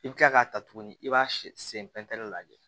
I bɛ kila k'a ta tuguni i b'a sen pɛntɛnni ye